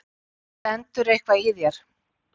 Stendur eitthvað í þér?